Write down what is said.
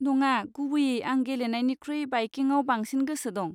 नङा, गुबैयै आं गेलेनायनिख्रुइ बाइकिंगआव बांसिन गोसो दं।